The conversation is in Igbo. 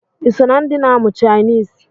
Iso na ndi na-amụ chainisi?